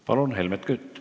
Palun, Helmen Kütt!